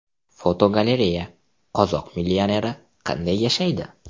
Fotogalereya: Qozoq millioneri qanday yashaydi?.